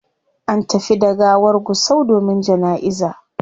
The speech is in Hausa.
An tafi da gawar gusau domin janaiza